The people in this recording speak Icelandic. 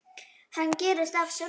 Hann gerist af sjálfu sér.